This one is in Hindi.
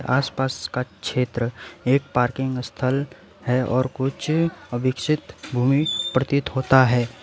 आसपास का क्षेत्र एक पार्किंग स्थल है और कुछ अभिक्षित भूमि प्रतीत होता है।